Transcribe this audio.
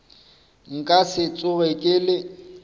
nka se tsoge ke le